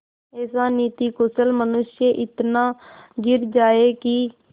ऐसा नीतिकुशल मनुष्य इतना गिर जाए कि